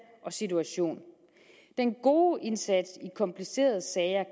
og situation den gode indsats i komplicerede sager